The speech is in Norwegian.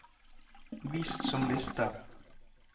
vis som liste